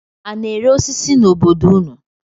A na-ere osisi n'obodo unu?